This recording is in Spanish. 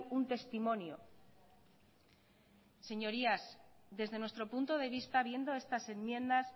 un testimonio señorías desde nuestro punto de vista viendo estas enmiendas